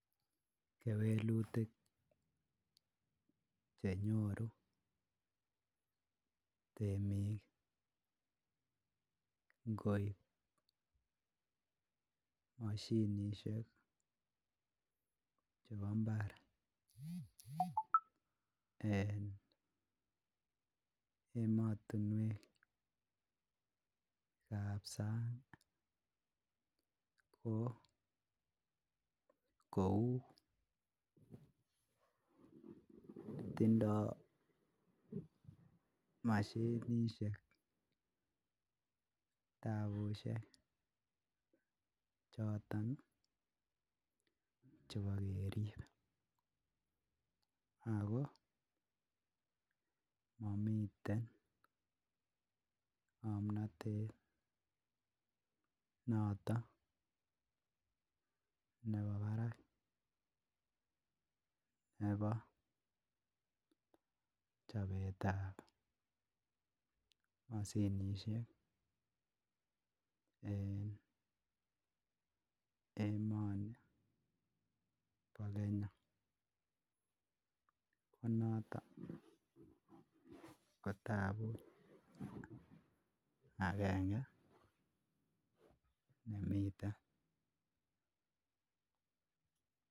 Kewelutik che nyoru temik ngoib moshinisiek chebo mbar en emotinwek ab sang ko kou: tindo mashinishek taabushek choton chebo kerib ago momiten ng'omnatet noton nebo barak nebo chobetab mashinisiek en emoni bo Kenya ko noto ko tabut agenge nemiten.